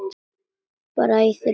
Bræður og vinir.